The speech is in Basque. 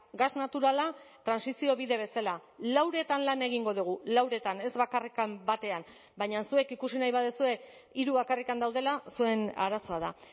gas naturala trantsizio bide bezala lauretan lan egingo dugu lauretan ez bakarrik batean baina zuek ikusi nahi baduzue hiru bakarrik daudela zuen arazoa da